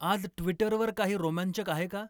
आज ट्वीटर वर काही रोमांचक आहे का